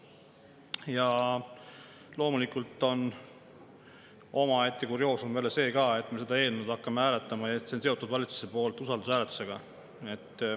Ja loomulikult on omaette kurioosum veel see ka, et me hakkame seda eelnõu hääletama ja valitsus on selle sidunud usaldushääletusega.